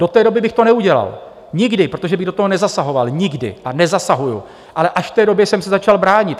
Do té doby bych to neudělal, nikdy, protože bych do toho nezasahoval, nikdy, a nezasahuji, ale až v té době jsem se začal bránit.